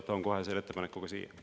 Toon kohe selle ettepaneku ka siia.